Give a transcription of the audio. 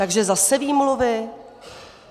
Takže zase výmluvy?